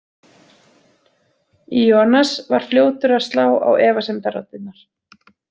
Ionas var fljótur að slá á efasemdaraddirnar.